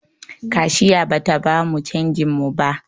Kashiya bata bamu canjin mu ba